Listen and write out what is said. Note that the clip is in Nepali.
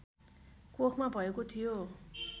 कोखमा भएको थियो